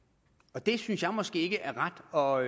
og det synes jeg måske ikke er ret og